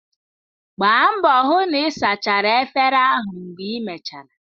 Gbaa mbọ hụ na ị sachara efere ahụ mgbe imechara!